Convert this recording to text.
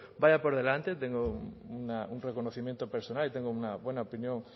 vaya por delante tengo un reconocimiento personal y tengo una buena opinión